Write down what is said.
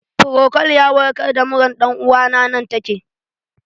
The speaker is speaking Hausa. Frokol ya warkar da muran ɗan uwana nan take